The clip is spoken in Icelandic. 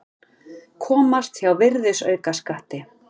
Komast hjá virðisaukaskatti